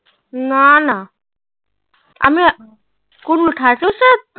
না না আমি